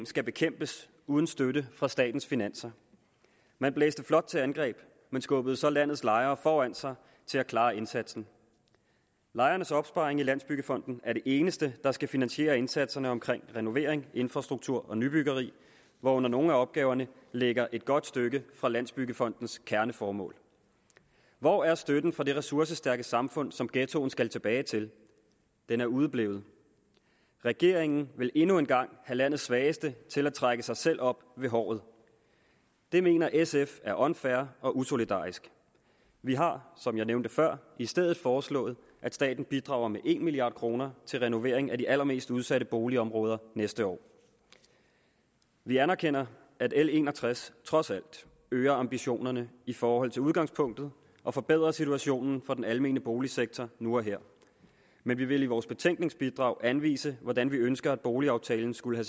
skal bekæmpes uden støtte fra statens finanser man blæste flot til angreb men skubbede så landets lejere foran sig til at klare indsatsen lejernes opsparing i landsbyggefonden er det eneste der skal finansiere indsatserne omkring renovering infrastruktur og nybyggeri hvoraf nogle af opgaverne ligger et godt stykke fra landsbyggefondens kerneformål hvor er støtten fra det ressourcestærke samfund som ghettoen skal tilbage til den er udeblevet regeringen vil endnu en gang have landets svageste til at trække sig selv op ved håret det mener sf er unfair og usolidarisk vi har som jeg nævnte før i stedet foreslået at staten bidrager med en milliard kroner til renovering af de allermest udsatte boligområder næste år vi anerkender at l en og tres trods alt øger ambitionerne i forhold til udgangspunktet og forbedrer situationen for den almene boligsektor nu og her men vi vil i vores betænkningsbidrag anvise hvordan vi ønsker at boligaftalen skulle